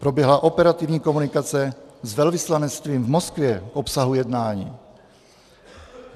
Proběhla operativní komunikace s velvyslanectvím v Moskvě k obsahu jednání.